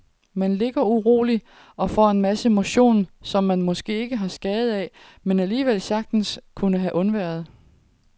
Man ligger uroligt og får en masse motion, som man måske ikke har skade af, men alligevel sagtens kunne have undværet.